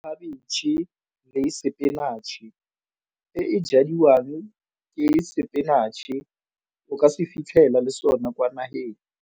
Khabitšhe le sepinatšhe e e jadiwang ke sepinatšhe o ka se fitlhela le sona kwa nageng.